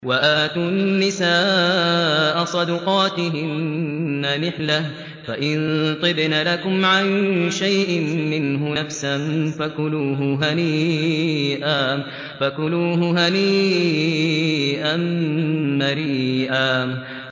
وَآتُوا النِّسَاءَ صَدُقَاتِهِنَّ نِحْلَةً ۚ فَإِن طِبْنَ لَكُمْ عَن شَيْءٍ مِّنْهُ نَفْسًا فَكُلُوهُ هَنِيئًا مَّرِيئًا